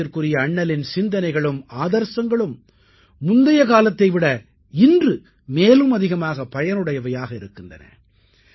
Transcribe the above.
வணக்கத்திற்குரிய அண்ணலின் சிந்தனைகளும் ஆதர்சங்களும் முந்தைய காலத்தை விட இன்று மேலும் அதிகமாகப் பயனுடையவையாக இருக்கின்றன